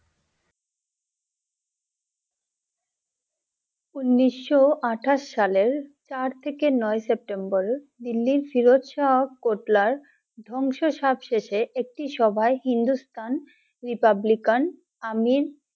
উনিশশো আঠাশ সালে চার থেকে নয় September Delhi Firoz Shah Kotla র ধংশ সবশেষে একটি সভায় হিন্দুস্তান Republican আমিন